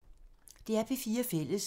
DR P4 Fælles